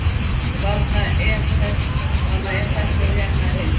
Þarna er þessi og hérna hinn.